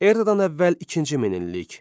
Eradan əvvəl ikinci min illik.